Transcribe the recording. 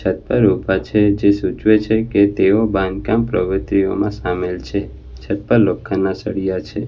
છત પર ઉભા છે જે સૂચવે છે કે તેઓ બાંધકામ પ્રગતિઓમાં સામેલ છે છત પર લોખંડના સળિયા છે.